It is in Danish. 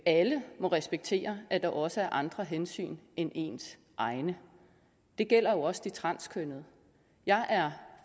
alle må respektere at der også er andre hensyn end ens egne det gælder jo også de transkønnede jeg er